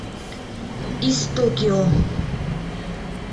из токио